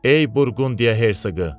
Ey Burqundiya Herseqı!